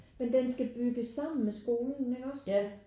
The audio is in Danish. Men den skal bygges sammen med skolen ikke også?